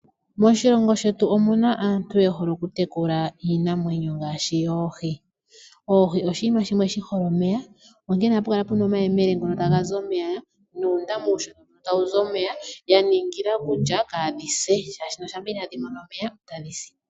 Moshilongo shetu omuna aantu yehole okutekula iinamwenyo ngaashi yoohi. Oohi oshiima shimwe shihole omeya, onkene ohapukala puna omayemele ngono tagazi omeya nosho woo uundama uushona tawuzi omeya ya ningila kutya kaadhise oshoka ngele itadhimono omeya otadhisi.